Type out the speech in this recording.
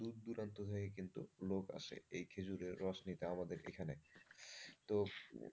দূর দূরান্ত থেকে কিন্তু লোক আসে এই খেজুরের রস নিতে আমাদের এখানে। তো,